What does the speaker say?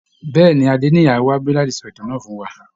Bẹ́ẹ̀ ni, Adéníyì á wá bí láti sọ ìtàn náà fún wa